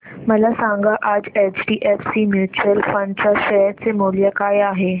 मला सांगा आज एचडीएफसी म्यूचुअल फंड च्या शेअर चे मूल्य काय आहे